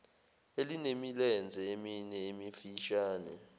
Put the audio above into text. elinemilenze emine emifishane